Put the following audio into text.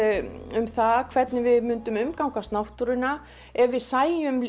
um það hvernig við myndum umgangast náttúruna ef við sæjum